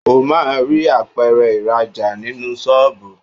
O máa rí Apẹ̀rẹ̀ ìrajà nínú ṣọ́ọ̀bù.